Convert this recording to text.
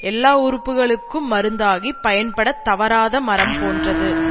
எல்லா உறுப்புகளுக்கும் மருந்தாகிப் பயன்படத் தவறாத மரம் போன்றது